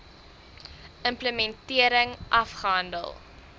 im plementering afgehandel